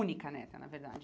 Única neta, na verdade.